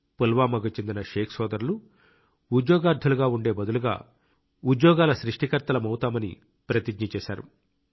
పుల్వామాకు చెందిన షేక్ సోదరులు ఉద్యోగార్ధులుగా ఉండే బదులుగా ఉద్యోగాల సృష్టికర్తలమవుతామని ప్రతిజ్ఞ చేశారు